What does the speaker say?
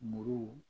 Muru